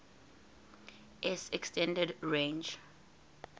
s extended range